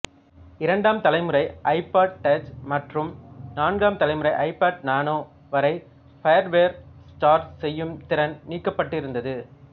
இரண்டாம் தலைமுறை iPod touch மற்றும் நான்காம் தலைமுறை ஐபாட் நானோ வரை ஃபயர்வேர் சார்ஜ் செய்யும் திறன் நீக்கப்பட்டிருந்தது